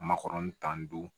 Makɔrɔni tan ni duuru